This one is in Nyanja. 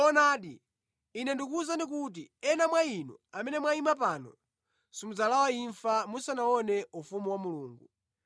Zoonadi, Ine ndikukuwuzani kuti ena mwa inu amene mwayima pano simudzalawa imfa musanaone ufumu wa Mulungu.”